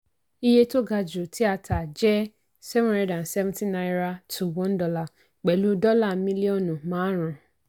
iye tó ga jù tí a tà jẹ́ seven hundred and seventyto one dolar pẹ̀lú dọ́là mílíọ̀nù márùn-ún.